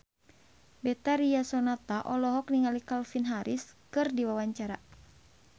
Betharia Sonata olohok ningali Calvin Harris keur diwawancara